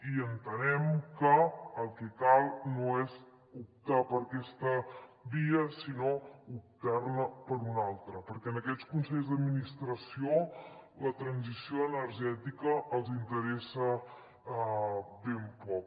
i entenem que el que cal no és optar per aquesta via sinó optar ne per una altra perquè a aquests consells d’administració la transició energètica els interessa ben poc